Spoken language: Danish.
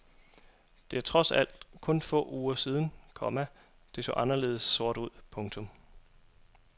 Det er trods alt kun få uger siden, komma det så anderledes sort ud. punktum